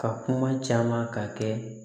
Ka kuma caman ka kɛ